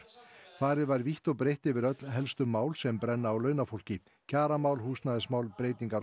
farið var vítt og breitt yfir öll helstu mál sem brenna á launafólki kjaramál húsnæðismál breytingar á